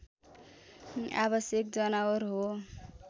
आवश्यक जनावर हो